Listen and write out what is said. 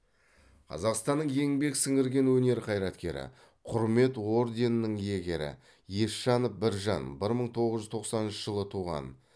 қазақстанның еңбек сіңірген өнер қайраткері құрмет орденінің иегері есжанов біржан бір мың тоғыз жүз тоқсаныншы жылы туған